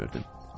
bilmirdim.